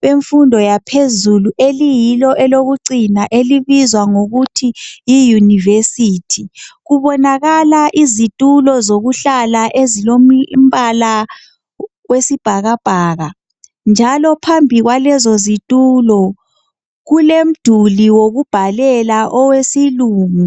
bemfundo yaphezulu eliyilo elokucina elibizwa ngokuthi yiyunivesithi. Kubonakala izitulo zokuhlala ezilombala wesibhakabhaka. Njalo phambi kwazo lezo zitulo kulomduli wokubhalela owesilungu.